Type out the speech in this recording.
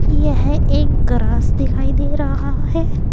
यह एक ग्रास दिखाई दे रहा है।